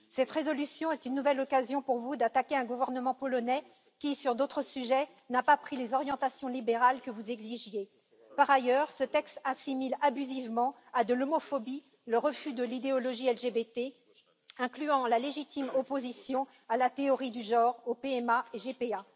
Cette résolution est une nouvelle occasion pour vous d'attaquer un gouvernement polonais qui, sur d'autres sujets, n'a pas pris les orientations libérales que vous exigiez. Par ailleurs, ce texte assimile abusivement à de l'homophobie le refus de l'idéologie LGBTI incluant la légitime opposition à la théorie du genre, à la PMA et à la GPA.